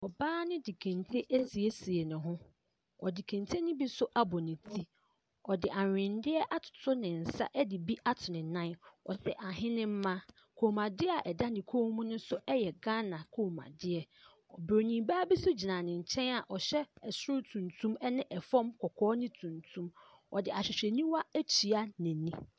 Ɔbaa ne de kente asiesie ne ho, ɔde kente ne bi nso abɔ ne ti, ɔde aweneɛ atoto ne nsa de bi ato ne nan, ɔhyɛ ahenema. Kɔnmuadeɛ a ɛda ne kɔn mu yɛ Ghana kɔnmuadeɛ. Bronin baa bi nso gyina ne nkyɛn a ɔhyɛ soro tuntum ne fam kɔkɔɔ ne tuntum, ɔde ahwehwɛniwa atua n’ani.